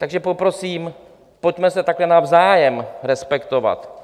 Takže poprosím, pojďme se takhle navzájem respektovat.